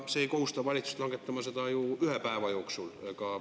See ei kohusta valitsust langetama seda ju ühe päeva jooksul.